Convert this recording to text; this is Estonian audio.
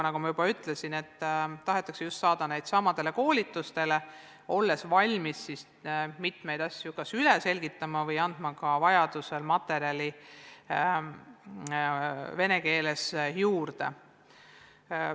Nagu ma juba ütlesin, tahetakse neid saada just samadele koolitustele, olles valmis mitmeid asju kas üle selgitama või andma vajaduse korral venekeelset materjali juurde.